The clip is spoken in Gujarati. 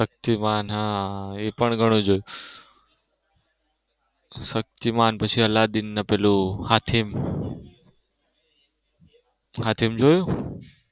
શક્તિમાન હમ એ પણ ઘણું જોયું શક્તિમાન પછી અલ્લાદીન ને પેલું હાથીમ હાથીમ જોયું?